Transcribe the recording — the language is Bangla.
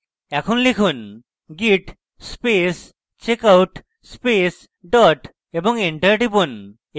এখন লিখুন: git space checkout space dot এবং enter টিপুন